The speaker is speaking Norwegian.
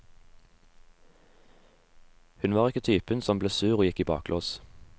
Hun var ikke typen som ble sur og gikk i baklås.